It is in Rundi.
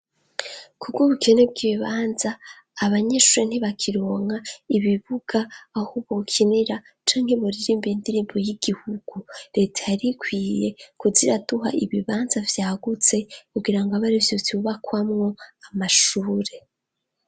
Kubw'ubukene bw'ibibanza, abanyeshure ntibakironka ibibuga, aho bokinira canke buririmbe indirimbo y'igihugu leta yarikwiye kuziiraduha ibibanza vyagutse, kugira ngo abari vyo bubakwamwo amashure.